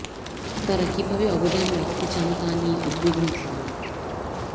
তারা কীভাবে অবদান রাখতে চান তা নিয়ে উদ্বিগ্ন ধারণা